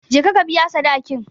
Je ka ka biya sadakin.